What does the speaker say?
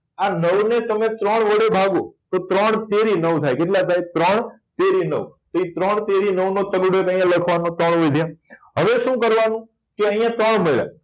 આ નવ ને તમે ત્રણ વડે ભાગો તો ત્રણ તેરી નવ થાય કેટલા થાય ત્રણ તેરી નવ તો એ ત્રણ તેરી નવ નો ત્રણ અહિયાં લખવા હવે શું કરવા નું કે અહિયાં ત્રણ